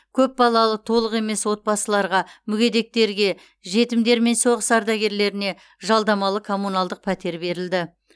көпбалалы толық емес отбасыларға мүгедектерге жетімдер мен соғыс ардагерлеріне жалдамалы коммуналдық пәтер берілді